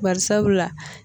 Barisabula